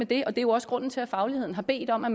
der er jo også grunden til at fagligheden har bedt om at